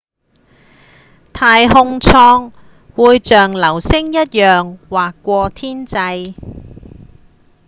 太空艙會像流星一樣劃過天際